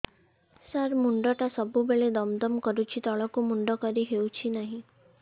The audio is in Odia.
ସାର ମୁଣ୍ଡ ଟା ସବୁ ବେଳେ ଦମ ଦମ କରୁଛି ତଳକୁ ମୁଣ୍ଡ କରି ହେଉଛି ନାହିଁ